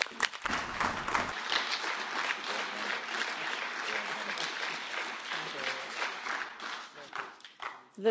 The trouble is that if everyone exceeds a minute then fewer get to speak which isn't an issue this evening but it will be in future parliaments.